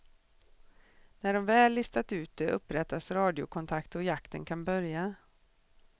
När de väl listat ut det, upprättas radiokontakt och jakten kan börja.